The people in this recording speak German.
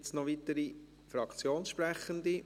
Gibt es noch weitere Fraktionssprechende?